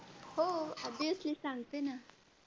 हो Obviously सांगते ना.